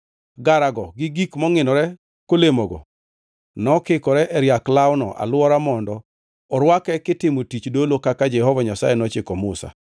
Garago gi gik mongʼinore kolemogo nokikore e riak lawno alwora mondo orwake kitimo tich dolo kaka Jehova Nyasaye nochiko Musa.